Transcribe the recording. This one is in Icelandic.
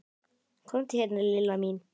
Komdu hérna Lilla mín.